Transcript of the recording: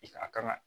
I ka a kan ka